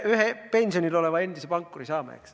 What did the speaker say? Üks pensionil olev endine pankur ehk tuleb, eks.